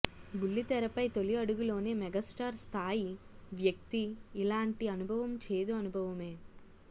బుల్లితెరపై తొలి అడుగులోనే మెగాస్టార్ స్థాయి వ్యక్తి ఇలాంటి అనుభవం చేదు అనుభవమే